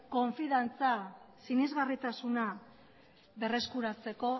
konfidantza sinesgarritasuna berreskuratzeko